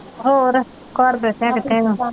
ਹੋਰ ਘਰ ਬੈਠਿਆਂ ਕਿੱਥੇ?